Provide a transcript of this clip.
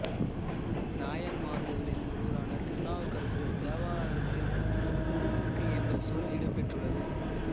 நாயன்மார்களில் ஒருவரான திருநாவுக்கரசர் தேவாரத்தில் குடமூக்கு என்ற சொல் இடம்பெற்றுள்ளது